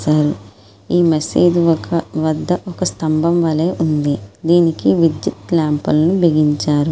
ఈ మసీదు ఒక వద్ద పెద్ద స్తంభం వలె ఉంది. దీనికి విద్యుత్ ల్యాంప్ లను బిగించారు.